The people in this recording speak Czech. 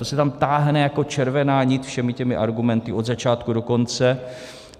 To se tam táhne jako červená nit všemi těmi argumenty od začátku do konce.